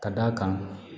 Ka d'a kan